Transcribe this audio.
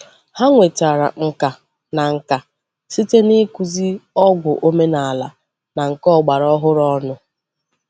Hà nwetara mkà na nkà site n’ịkụzị ọgwụ omenala na nke ọgbara ọhụrụ ọnụ.